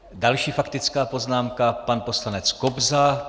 Další faktická poznámka - pan poslanec Kobza.